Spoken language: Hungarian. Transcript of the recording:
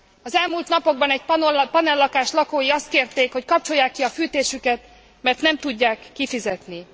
Az elmúlt napokban egy panellakás lakói azt kérték, hogy kapcsolják ki a fűtésüket, mert nem tudják kifizetni.